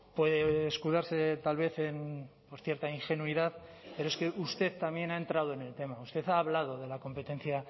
puede escudarse tal vez por cierta ingenuidad pero es que usted también ha entrado en el tema usted ha hablado de la competencia